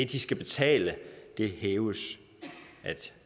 de skal betale hæves